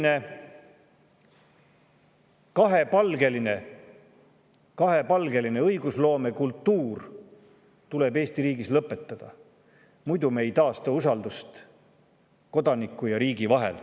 Nii et selline kahepalgeline õigusloomekultuur tuleb Eesti riigis lõpetada, muidu me ei taasta usaldust kodaniku ja riigi vahel.